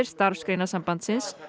Starfsgreinasambandsins